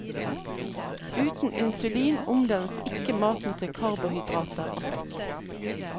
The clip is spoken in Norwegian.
Uten insulin omdannes ikke maten til karbohydrater og fett.